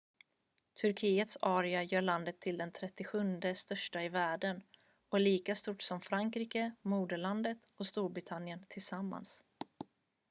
turkiets area gör landet till det 37:e största i världen och är lika stort som frankrike moderlandet och storbritannien tillsammans